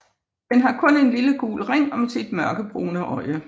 Den har kun en lille gul ring om sit mørkebrune øje